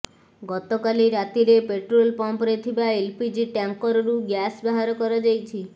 ଗତକାଲି ରାତିରେ ପେଟ୍ରୋଲ ପମ୍ପରେ ଥିବା ଏଲ୍ପିଜି ଟ୍ୟାଙ୍କରରୁ ଗ୍ୟାସ ବାହାର କରାଯାଇଛି